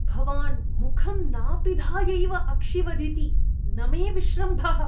भवान् मुखं नापिधायैव अक्षिवदिति न मे विश्रम्भः।